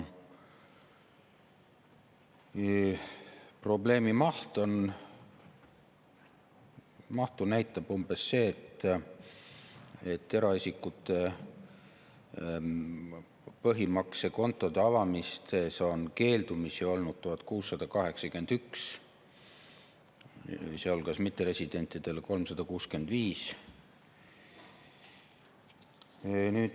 Probleemi mahtu näitab see, et eraisikute põhimaksekontode avamisest keeldumisi on olnud 1681, sealhulgas 365 mitteresidendi puhul.